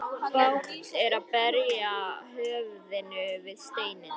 Bágt er að berja höfðinu við steinninn.